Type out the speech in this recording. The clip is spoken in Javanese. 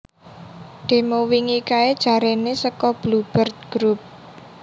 Demo wingi kae jarene soko Blue Bird Group